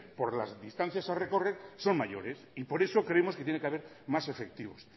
por las distancias a recorrer son mayores y por eso creemos que tiene que haber más efectivos